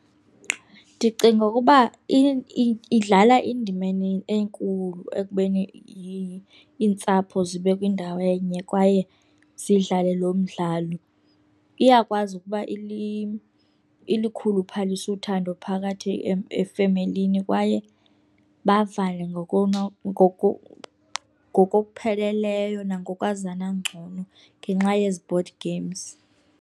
Ndicinga ukuba idlala indima enkulu ekubeni iintsapho zibe kwindawo enye kwaye zidlale lo mdlalo. Iyakwazi ukuba ilikhuluphalise uthando phakathi efemelini kwaye bavane ngokokupheleleyo nangokwazana ngcono ngenxa yezi board games.